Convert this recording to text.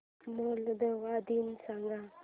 Moldova दिन सांगा